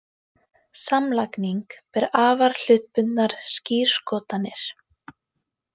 Samlagning ber afar hlutbundnar skírskotanir.